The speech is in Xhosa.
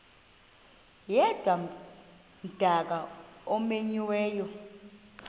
yedwa umdaka omenyiweyo